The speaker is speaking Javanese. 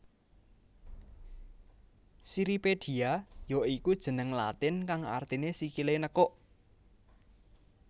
Cirripedia ya iku jeneng latin kang artiné sikilé nekuk